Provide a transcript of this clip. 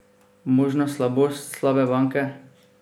Možna slabost slabe banke?